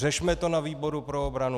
Řešme to na výboru pro obranu!